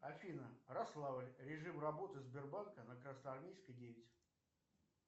афина рославль режим работы сбербанка на красноармейской девять